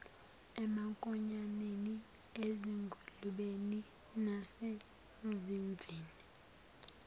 emankonyaneni ezingulubeni nasezimvini